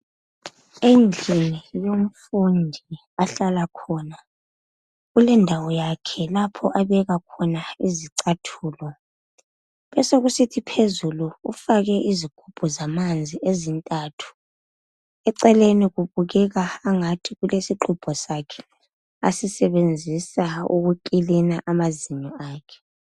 Endlini yomfundi ahlala khona kulendawo yakhe lapho abekakhona izicathulo besokusithi phezulu ufake izigubhu zamanzi ezintathu eceleni kubukeka ngathi kulesixhubho sakhe asisebenzisa ukuklina amazinyo akhe